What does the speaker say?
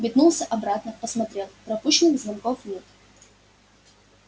метнулся обратно посмотрел пропущенных звонков нет